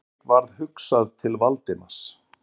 Friðriki varð hugsað til Valdimars.